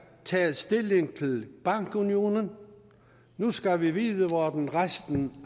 tage stilling til bankunionen nu skal vi vide hvordan resten